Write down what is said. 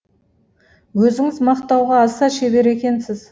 өзіңіз мақтауға аса шебер екенсіз